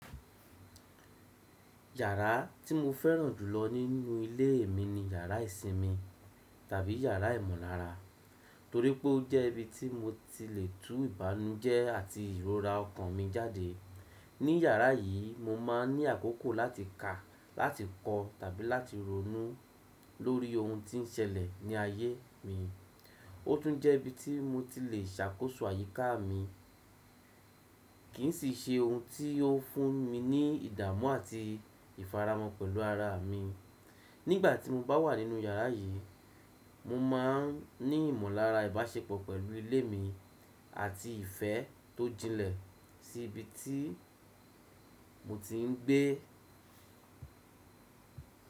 Yàrá tí mo fẹ́ràn jùlọ nínú ilé mi ni yàrá ìsinmi tàbí yàrá ìmọ̀lára, torí pé ó jẹ́ ibi tí mo ti lè tú ìbànújẹ́ àti ìrora ọkàn mi jáde. Ní yàrá yìí, mo máa ń ní àkókò láti kà, láti kọ tàbí láti ronú lórí ohun tí ń ṣẹlẹ̀ ní ayé mi. Ó tún jẹ́ ibi tí mo ti lè ṣàkóso àyíká mi, kì í sì ṣe ohun tí ó fún mi ní ìdààmú àti ìfaramọ́ pẹ̀lú ara mi. Nígbà tí mo bá wà nínú yàrá yìí, mo máa ń ní ìmọ̀lára ìbáṣepọ̀ pẹ̀lú ilé mi àti ìfẹ́ tó jinlẹ̀ sí ibi tí mo ti ń gbé.